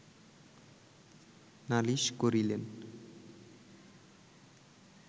নালিশ করিলেন